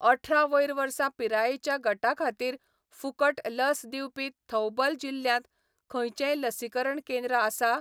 अठरा वयर वर्सां पिरायेच्या गटा खातीर फुकट लस दिवपी थौबल जिल्ल्यांत खंयचेंय लसीकरण केंद्र आसा?